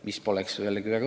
Väga õige see küll poleks.